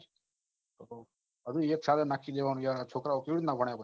હજુ એક સાલે માસી ગયા ને છોકરાઓ કેવી રીતે ભણે